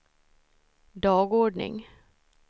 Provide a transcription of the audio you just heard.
dagordning